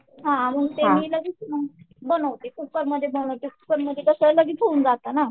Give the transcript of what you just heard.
हां मग मी ते लगेच मग बनवते कुकर मध्ये बनवते कुकर मध्ये कसं लगेच होऊन जातंय ना.